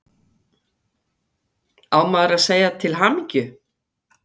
Á maður að segja til hamingju?